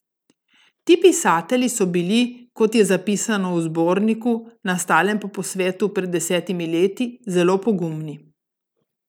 Ti pisatelji so bili, kot je zapisano v zborniku, nastalem po posvetu pred desetimi leti, zelo pogumni.